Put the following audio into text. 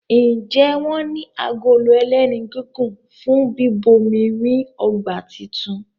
Njé wón ní Agolo ẹlẹ́nu gígùn fún bíbomirin ọgbà títún?